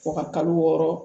Fo ka kalo wɔɔrɔ